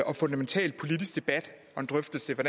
og fundamental politisk debat en drøftelse af